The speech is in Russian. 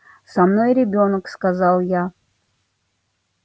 со мной ребёнок сказал я